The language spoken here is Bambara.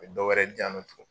A bi dɔwɛrɛ diyan nɔ tugun